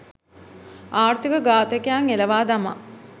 ආර්ථික ඝාතකයන් එලවා දමා